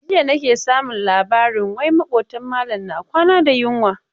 Jiya nake samun labarin wai maƙotan malam na kwana da yunwa.